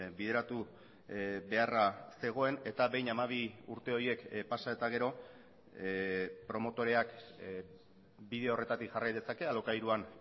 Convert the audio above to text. bideratu beharra zegoen eta behin hamabi urte horiek pasa eta gero promotoreak bide horretatik jarrai dezake alokairuan